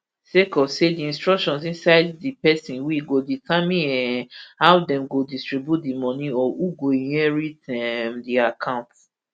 sake of say di instructions inside di pesin will go determine um how dem go distribute di moni or who go inherit um di account